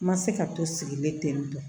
N ma se ka to sigilen ten tɔ